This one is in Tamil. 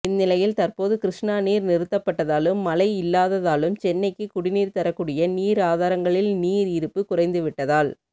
இந்நிலையில் தற்போது கிருஷ்ணா நீர் நிறுத்தப்பட்டதாலும் மழை இல்லாததாலும் சென்னைக்கு குடிநீர் தரக்கூடிய நீர் ஆதாரங்களில் நீர் இருப்பு குறைந்துவிட்டதால்